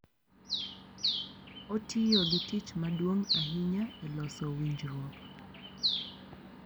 Otiyo gi tich maduong’ ahinya e loso winjruok,